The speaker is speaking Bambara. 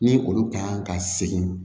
Ni olu ka ɲi ka segin